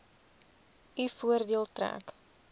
u voordeel trek